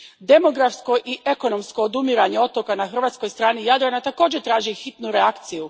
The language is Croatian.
Demografsko i ekonomsko odumiranje otoka na hrvatskoj strani Jadrana također traži hitnu reakciju.